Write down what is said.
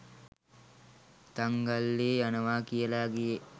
තංගල්‍ලේ යනවා කියලා ගියේ